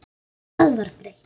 Hvað var breytt?